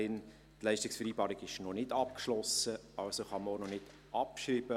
Die Leistungsvereinbarung ist noch nicht abgeschlossen, also kann man auch noch nicht abschreiben.